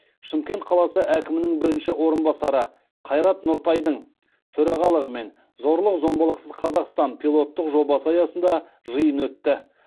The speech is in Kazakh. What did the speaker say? шымкент қаласы әкімінің бірінші орынбасары қайрат нұртайдың төрағалығымен зорлық зомбылықсыз қазақстан пилоттық жобасы аясында жиын өтті